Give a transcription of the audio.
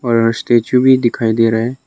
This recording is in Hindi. और स्टैचू भी दिखाई दे रहा है।